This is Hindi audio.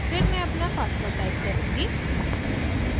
फिर मैं अपना password type करुँगी